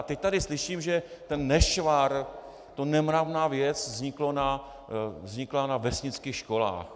A teď tady slyším, že ten nešvar, ta nemravná věc vznikla na vesnických školách.